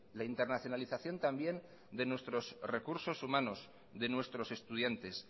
la internacionalización también de nuestros recursos humanos de nuestros estudiantes